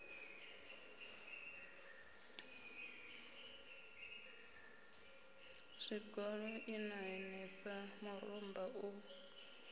zwigoḓo ṋna henefha murumba u